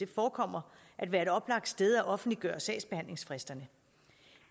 forekommer at være et oplagt sted at offentliggøre sagsbehandlingsfristerne